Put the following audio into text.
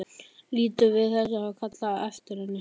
Lítur við þegar það er kallað á eftir henni.